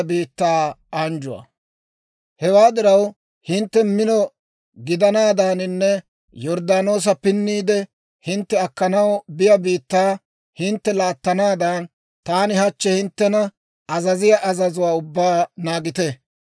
«Hewaa diraw, hintte mino gidanaadaaninne Yorddaanoosa pinniide hintte akkanaw biyaa biittaa hintte laattanaadan, taani hachchi hinttena azaziyaa azazuwaa ubbaa naagite.